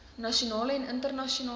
nasionale en internasionale